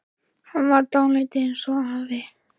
Hann var dálítið eins og afi.